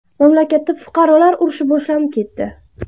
Mamlakatda fuqarolar urushi boshlanib ketdi.